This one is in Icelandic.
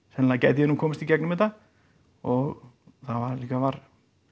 sennilega gæti ég nú komist í gegnum þetta og það líka var